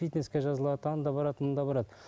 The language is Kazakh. фитнеске жазылады анда барады мында барады